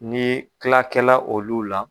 Ni kilakɛla olu la.